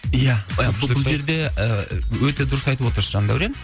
ия бұл жерде ы өте дұрыс айтып отырсыз жандәурен